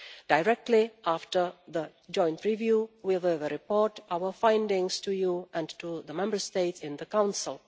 Directly after the joint review we will report our findings to you and to the Member States in the Council.